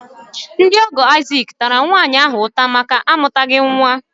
Ndị ọ̀gọ́ Isaac tara nwaanyị ahụ ụta máká amutaghi nwa